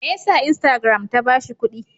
Me ya sa instagram ta ba shi kuɗi?